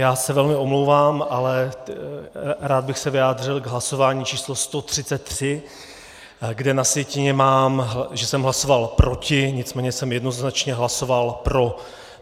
Já se velmi omlouvám, ale rád bych se vyjádřil k hlasování číslo 133, kde na sjetině mám, že jsem hlasoval proti, nicméně jsem jednoznačně hlasoval pro.